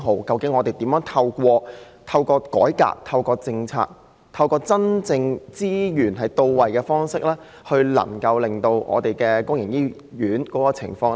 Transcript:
究竟政府應該如何透過改革及政策，讓資源真正到位，從而改善公營醫院的情況呢？